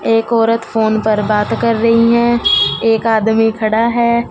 एक औरत फोन पर बात कर रही है एक आदमी खड़ा है।